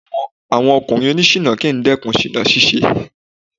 Àwọn ọkùnrin oní ṣiná kì ń dẹ́kun ṣìná ṣíṣe.